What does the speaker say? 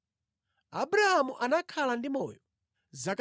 Abrahamu anakhala ndi moyo zaka 175.